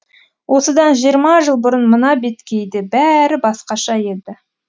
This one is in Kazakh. осыдан жиырма жыл бұрын мына беткейде бәрі басқаша еді